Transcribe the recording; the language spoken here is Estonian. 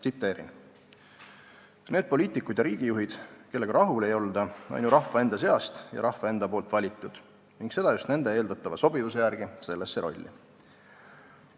Tsiteerin: "Need poliitikud ja riigijuhid, kellega rahul ei olda, on ju rahva enda seast ja rahva enda poolt valitud ning seda just nende eeldatava sobivuse järgi sellesse rolli.